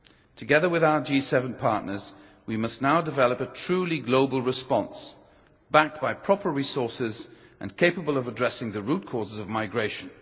Together with our G7 partners, we must now develop a truly global response, backed by proper resources, and capable of addressing the root causes of migration.